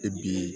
E bi